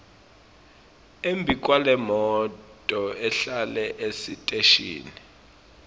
embikwalemoto ehlele esiteshini